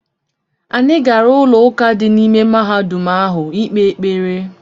Anyị gara ụlọụka dị n’ime mahadum ahụ ikpe ekpere.